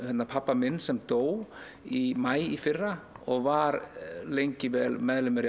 pabba minn sem dó í maí í fyrra og var lengi meðlimur í